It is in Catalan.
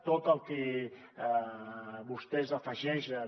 tot el que vostès afegeixen